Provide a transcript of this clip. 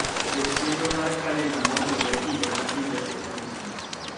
Ket chenro mar kalenda mono onwore higa ka higa e tarigni.